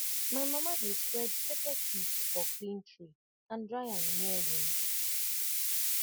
my mama dey spread pepper seeds for clean tray and dry am near window